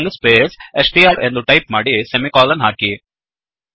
string space str ಎಂದು type ಮಾಡಿ semicolon ಹಾಕಿ